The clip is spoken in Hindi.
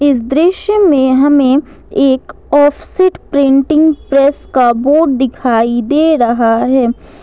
दृश्य में हमें एक ऑफसेट प्रिंटिंग प्रेस का बोर्ड दिखाई दे रहा है ।